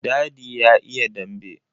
Dadi ya iya dambe.